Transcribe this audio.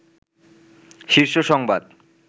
শীর্ষ সংবাদ